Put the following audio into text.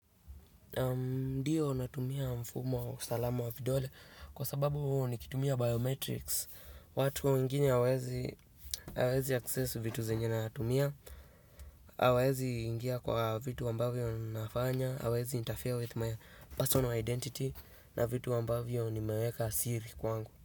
Ndio natumia mfumo wa usalama wa vidole kwa sababu huwa nikitumia biometrics. Watu wengine hawawezi access vitu zenye natumia hawawezi ingia kwa vitu ambavyo nafanya hawawezi interfere with my personal identity na vitu ambavyo nimeweka siri kwangu.